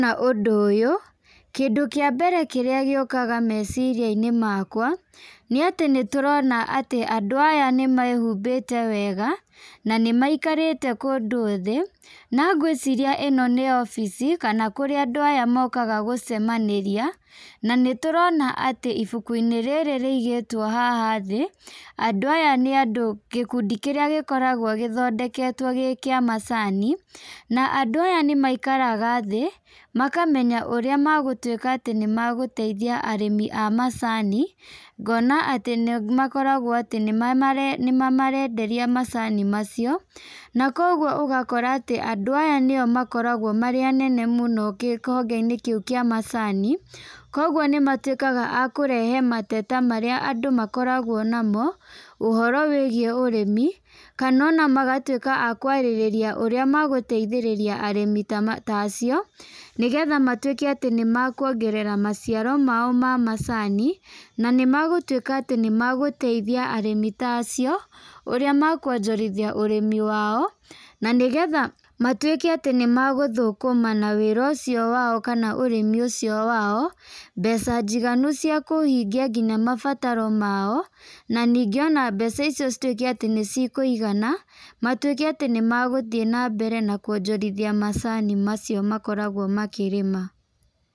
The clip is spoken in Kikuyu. Ndona ũndũ ũyũ, kĩndũ kĩa mbere kĩrĩa gĩũkaga meciria-inĩ makwa, nĩ atĩ nĩtũrona atĩ andũ aya nĩmehumbĩte wega, na nĩ maikarĩte kũndũ thĩ na ngwĩciria ĩno nĩ obici kana kũrĩa andũ aya mokaga gũcemanĩria, na nĩ tũrona atĩ ibuku-inĩ rĩrĩ rĩigĩtwo haha thĩ, andũ aya andũ nĩ gĩkundi kĩrĩa gĩkoragwo gĩthondeketwo gĩ kĩa macani, na andũ aya nĩmaikaraga thĩ , makamenya ũrĩa magũtwĩka atĩ nĩmagũteithia arĩmi a a macani, ngona atĩ nĩmakoragwo atĩ nĩ mama nĩ mamarenderia macani macio, na kũgwo ũgakora andũ aya nĩo makoragwo marĩ anene mũno kĩhonge-inĩ kĩu kĩa ,macani ,kũgwo nĩmatwĩkaga akũrehe mateta marĩa andũ makoragwo namo, ũhoro wĩgiĩ ũrĩmi, kana ona magatwĩka akwarĩrĩria ũrĩa magũteithĩrĩria arĩmi ta acio, nĩgetha matwĩke atĩ nĩmakwongerera maciaro mao ma macani , na nĩ magũtwĩka atĩ nĩmagũteithia arĩmi ta acio ũrĩa makwonjorithia ũrĩmi wao, na nĩgetha matwĩke atĩ nĩmagũthũkũma na wĩra ũcio wao, kana ũrĩmi ũcio wao, mbeca njiganu nginya cia kũhingia mabataro mao, na ningĩ ona mbeca icio citwĩke cia kũigana, matwĩke atĩ nĩmagũthiĩ na mbere kwonjorithia macani macio makoragwo makĩrĩma.